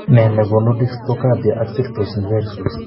Nee nekoonu dextocardia ak situs inversus?